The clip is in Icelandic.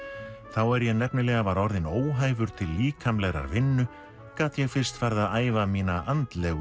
þá er ég nefnilega var orðinn óhæfur til líkamlegrar vinnu gat ég fyrst farið að æfa mína andlegu